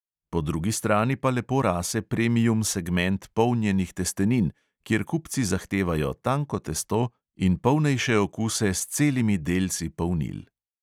Po drugi strani pa lepo rase premium segment polnjenih testenin, kjer kupci zahtevajo tanko testo in polnejše okuse s celimi delci polnil.